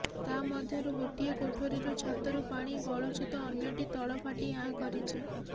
ତା ମଧ୍ୟରୁ ଗୋଟିଏ କୋଠରୀରୁ ଛାତରୁ ପାଣି ଗଳୁଛି ତ ଅନ୍ୟଟି ତଳ ଫାଟି ଆଁ କରିଛି